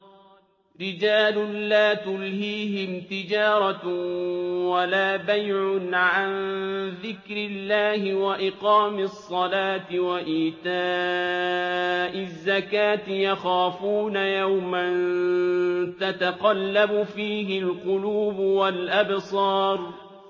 رِجَالٌ لَّا تُلْهِيهِمْ تِجَارَةٌ وَلَا بَيْعٌ عَن ذِكْرِ اللَّهِ وَإِقَامِ الصَّلَاةِ وَإِيتَاءِ الزَّكَاةِ ۙ يَخَافُونَ يَوْمًا تَتَقَلَّبُ فِيهِ الْقُلُوبُ وَالْأَبْصَارُ